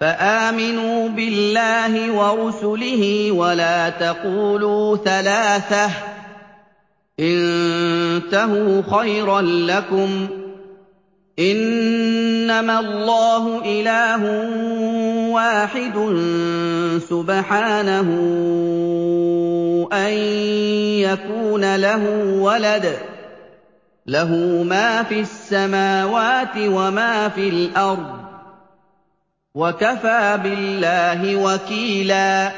فَآمِنُوا بِاللَّهِ وَرُسُلِهِ ۖ وَلَا تَقُولُوا ثَلَاثَةٌ ۚ انتَهُوا خَيْرًا لَّكُمْ ۚ إِنَّمَا اللَّهُ إِلَٰهٌ وَاحِدٌ ۖ سُبْحَانَهُ أَن يَكُونَ لَهُ وَلَدٌ ۘ لَّهُ مَا فِي السَّمَاوَاتِ وَمَا فِي الْأَرْضِ ۗ وَكَفَىٰ بِاللَّهِ وَكِيلًا